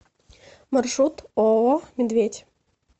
маршрут ооо медведь